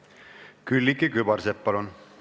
Külliki Kübarsepp, palun!